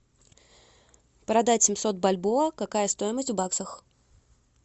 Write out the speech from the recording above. продать семьсот бальбоа какая стоимость в баксах